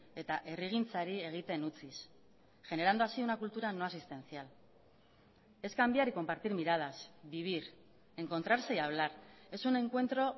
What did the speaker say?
eta herrigintzari egiten utziz generando así una cultura no asistencial es cambiar y compartir miradas vivir encontrarse y hablar es un encuentro